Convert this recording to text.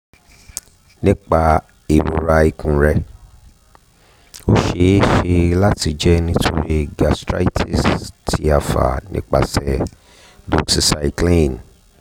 nipa irora ikun rẹ o ṣee ṣe lati jẹ nitori gastritis ti a fa nipasẹ doxycycline